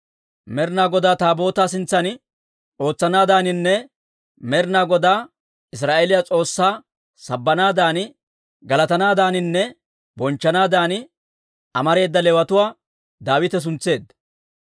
Med'inaa Godaa Taabootaa sintsan ootsanaadaaninne Med'inaa Godaa Israa'eeliyaa S'oossaa sabbanaadan, galatanaadaaninne bonchchanaadan, amareeda Leewatuwaa Daawite suntseedda.